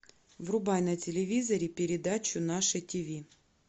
врубай на телевизоре передачу наше ти ви